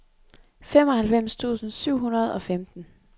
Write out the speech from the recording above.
femoghalvfems tusind syv hundrede og femten